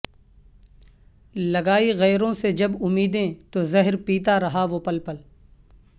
لگا ئی غیروں سے جب امیدیں تو زہر پیتا رہا وہ پل پل